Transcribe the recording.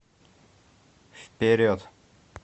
вперед